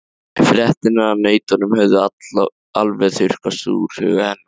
Fréttirnar af nautunum höfðu alveg þurrkast úr huga hennar.